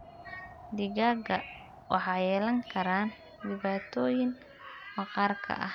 Digaagga waxay yeelan karaan dhibaatooyin maqaarka ah.